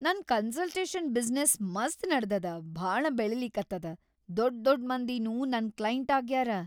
ನನ್ consultation business ಮಸ್ತ್‌ ನಡದದ ಭಾಳ ಬೆಳಿಲಿಕತ್ತದ, ದೊಡ್‌ ದೊಡ್‌ ಮಂದಿನೂ ನನ್‌ ಕ್ಲೈಂಟ್‌ ಆಗ್ಯಾರ.